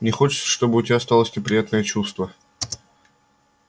не хочется чтобы у тебя осталось неприятное чувство